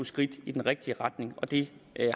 skridt i den rigtige retning og det